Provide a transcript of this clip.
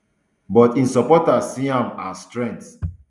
but im supporters see um am as strength